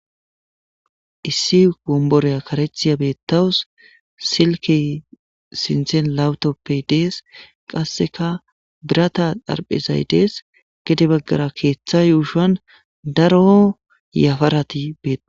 issi gomboreya karechiya beettawus silki sinthen lawutoppe dees qasseka birata darphezay dees gede baggara keeththa yuushan daro yafarati beta